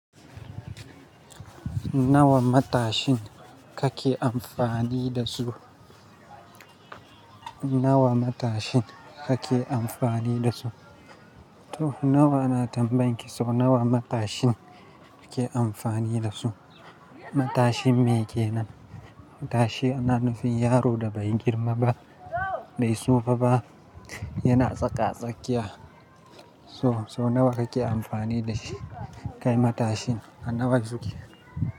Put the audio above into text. Nawa matashin kake amfani da su? Nawa matashin kake amfani da su? To nawa ana tambayen ki, so nawa matashin kake amfani da su? Matashin me kenan? Matashi ana nufin yaro da bai girma ba, bai sofa ba, yana tsaka-tsakiya. To, so nawa kake amfani da shi? Kai matashin, a nawa suke?